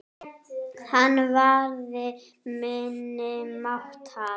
Hann varði minni máttar.